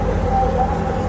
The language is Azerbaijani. Həyyə ələs-səlah.